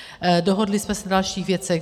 Dohodli jsme se na dalších věcech.